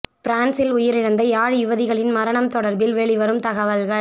பிரான்ஸில் உயிரிழந்த யாழ் யுவதிகளின் மரணம் தொடர்பில் வெளிவரும் தகவல்கள்